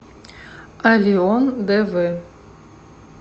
аллион дв